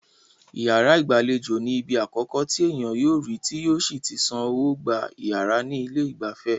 Iyàrá ìgbàlejò ní ibi akọ̀kọ́ tí ènìyàn yóò rí tí yóò sí tí san owó gba iyàrá ní ilé ìgbafẹ́.